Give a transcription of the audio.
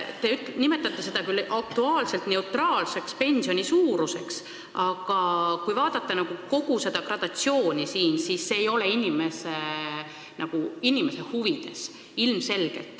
Te nimetate seda aktuaarselt neutraalseks pensioni suuruseks, aga kui vaadata kogu seda gradatsiooni siin, siis on näha, et ilmselgelt see ei ole inimese huvides.